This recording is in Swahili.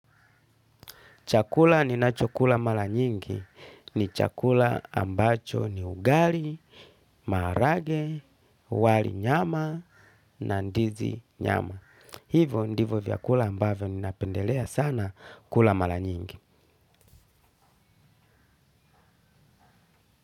Chakula ninachokula mara nyingi ni chakula ambacho ni ugali, marage, wali nyama na ndizi nyama. Hivyo ndivyo vyakula ambavyo napendeleya sana kula mara nyingi.